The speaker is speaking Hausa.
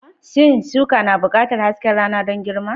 Shin shuka na buƙatar hasken rana don girma?